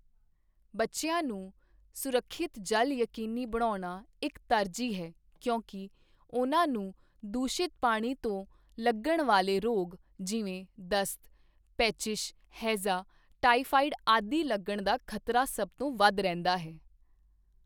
ਬੱਚਿਆਂ ਨੂੰ ਸੁਰੱਖਿਅਤ ਜਲ ਯਕੀਨੀ ਬਣਾਉਣਾ ਇੱਕ ਤਰਜੀਹ ਹੈ ਕਿਉਂਕਿ ਉਨ੍ਹਾਂ ਨੂੰ ਦੂਸ਼ਿਤ ਪਾਣੀ ਤੋਂ ਲੱਗਣ ਵਾਲੇ ਰੋਗ ਜਿਵੇਂ ਦਸਤ, ਪੇਚਿਸ਼, ਹੈਜ਼ਾ, ਟਾਇਫ਼ਾਇਡ ਆਦਿ ਲੱਗਣ ਦਾ ਖ਼ਤਰਾ ਸਭ ਤੋਂ ਵੱਧ ਰਹਿੰਦਾ ਹੈ।